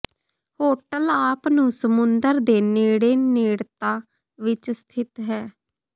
hotel ਆਪ ਨੂੰ ਸਮੁੰਦਰ ਦੇ ਨੇੜੇ ਨੇੜਤਾ ਵਿੱਚ ਸਥਿਤ ਹੈ